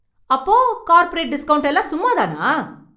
அப்போ corporate discount எல்லாம் சும்மா தானா?